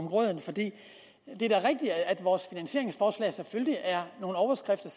grød for det er da rigtigt at vores finansieringsforslag nogle overskrifter